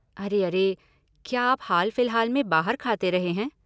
अरे अरे, क्या आप हाल फिलहाल में बाहर खाते रहे हैं?